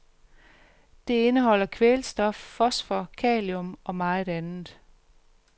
Det indeholder kvælstof, fosfor, kalium og meget andet.